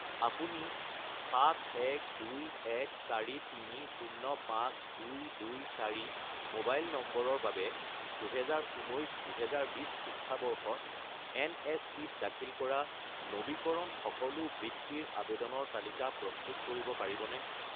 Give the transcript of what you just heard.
আপুনি 71214305224 মোবাইল নম্বৰৰ বাবে 2019 - 2020 শিক্ষাবৰ্ষত এনএছপি-ত দাখিল কৰা নবীকৰণ সকলো বৃত্তিৰ আবেদনৰ তালিকা প্ৰস্তুত কৰিব পাৰিবনে?